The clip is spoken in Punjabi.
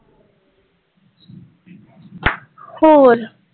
ਹੋਰ